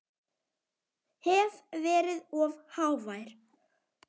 Hef verið of hávær.